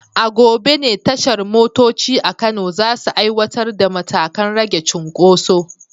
A gobe ne tashar motoci a Kano za su aiwatar da matakan rage cunkoso.